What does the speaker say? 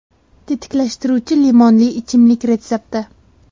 Tetiklashtiruvchi limonli ichimlik retsepti.